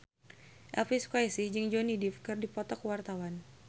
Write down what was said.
Elvy Sukaesih jeung Johnny Depp keur dipoto ku wartawan